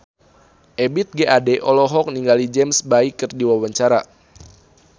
Ebith G. Ade olohok ningali James Bay keur diwawancara